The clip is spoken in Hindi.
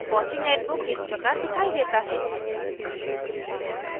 fossee netbook इस प्रकार दिखाई देता है